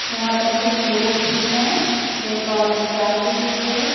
यहां पर कुछ लोग भी हैं एक औरत चाय पी रही है।